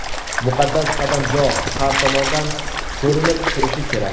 Muqaddas qadamjo har tomondan ko‘rinib turishi kerak.